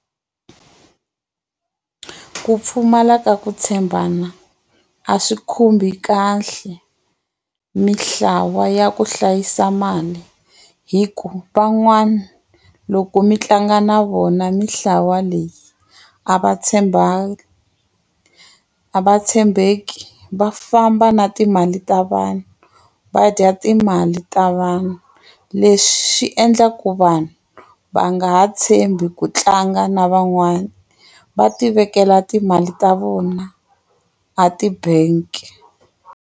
Ku pfumala ka ku tshembana a swi khumbi kahle mitlawa ya ku hlayisa mali hi ku van'wana loko mi tlanga na vona mitlawa leyi a va tshembani a va tshembeki va famba na timali ta vanhu va dya timali ta vanhu leswi endlaku vanhu va nga ha tshembi ku tlanga na van'wana va tivekela timali ta vona a tibangi.